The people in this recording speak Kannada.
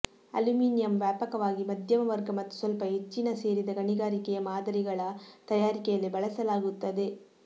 ಅಲ್ಯೂಮಿನಿಯಮ್ ವ್ಯಾಪಕವಾಗಿ ಮಧ್ಯಮ ವರ್ಗ ಮತ್ತು ಸ್ವಲ್ಪ ಹೆಚ್ಚಿನ ಸೇರಿದ ಗಣಿಗಾರಿಕೆಯ ಮಾದರಿಗಳ ತಯಾರಿಕೆಯಲ್ಲಿ ಬಳಸಲಾಗುತ್ತದೆ